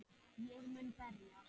Ég mun berjast